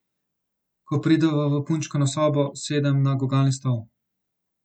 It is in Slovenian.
Ko prideva v punčkino sobo, sedem na gugalni stol.